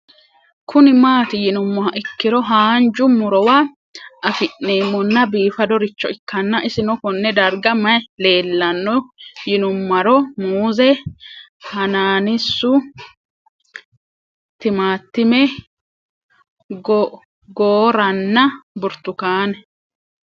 Kuni mati yinumoha ikiro hanja murowa afine'mona bifadoricho ikana isino Kone darga mayi leelanno yinumaro muuze hanannisu timantime gooranna buurtukaane